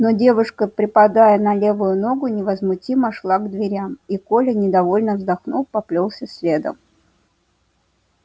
но девушка припадая на левую ногу невозмутимо шла к дверям и коля недовольно вздохнув поплёлся следом